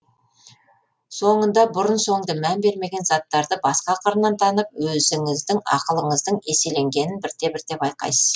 соңында бұрын соңды мән бермеген заттарды басқа қырынан танып өзіңіздің ақылыңыздың еселенгенін бірте бірте байқайсыз